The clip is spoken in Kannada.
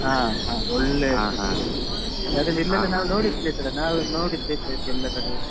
ಹಾ ಯಾಕಂದ್ರೆ ಇಲ್ಲಿ ಇದ್ದು ನಾವ್ ನೋಡಿದ place ಅಲ್ಲಾ ನಾವ್ ನೋಡಿದ್ದೇ place ಎಲ್ಲ ಕಡೆ.